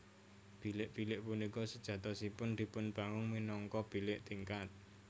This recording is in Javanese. Bilik bilik punika sejatosipun dipun bangun minangka bilik tingkat